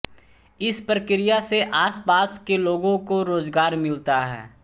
इस प्रक्रिया से आसपास के लोगों को रोजगार मिलता है